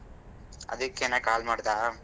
ಅದಿಕ್ಕೆನೇ call ಮಾಡ್ದಾ.